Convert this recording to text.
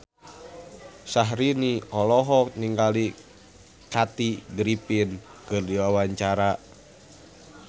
Syahrini olohok ningali Kathy Griffin keur diwawancara